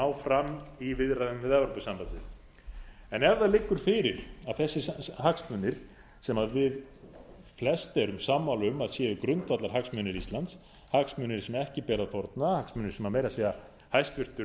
fram í viðræðum við evrópusambandið en ef það liggur fyrir að þessir hagsmunir sem við flest erum sammála um að séu grundvallarhagsmunir íslands hagsmunir sem ekki beri að fórna hagsmunir sem meira að segja hæstvirts